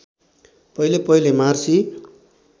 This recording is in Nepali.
पहिले पहिले मार्सी